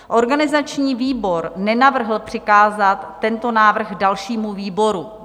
Organizační výbor nenavrhl přikázat tento návrh dalšímu výboru.